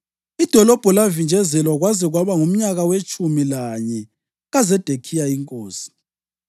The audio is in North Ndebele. Idolobho lavinjezelwa kwaze kwaba ngumnyaka wetshumi lanye kaZedekhiya inkosi.